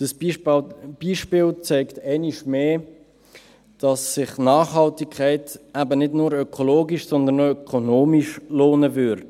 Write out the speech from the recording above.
Dieses Beispiel zeigt einmal mehr, dass sich Nachhaltigkeit eben nicht nur ökologisch, sondern auch ökonomisch lohnen würde.